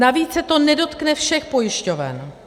Navíc se to nedotkne všech pojišťoven.